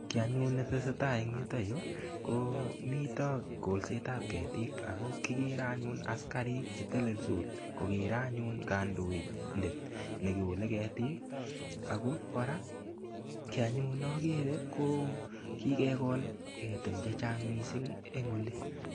Kii anyun netesei tai eng' yutoyu ko mito kolsetab ketik ako kikere anyun askarik chetelelsot kokere anyun kandidet nekolei ketik ako kora kii anyun nakere ko kikekol ketin chechang' mising' eng' oli